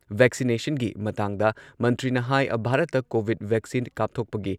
ꯚꯦꯛꯁꯤꯅꯦꯁꯟꯒꯤ ꯃꯇꯥꯡꯗ ꯃꯟꯇ꯭ꯔꯤꯅ ꯍꯥꯏ ꯚꯥꯔꯠꯇ ꯀꯣꯚꯤꯗ ꯚꯦꯛꯁꯤꯟ ꯀꯥꯞꯊꯣꯛꯄꯒꯤ